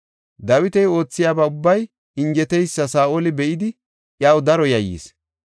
Dawiti oothiyaba ubbay injeteysa Saa7oli be7idi iyaw daro yayyis.